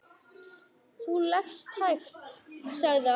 Þú lest hægt, sagði afi.